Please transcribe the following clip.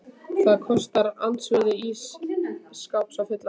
Það kostar andvirði ís skáps að fylla hann.